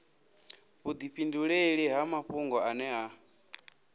vhudifhinduleli ha mafhungo ane a